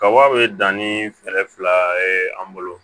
Kaba be dan nii fɛɛrɛ fila ye an bolo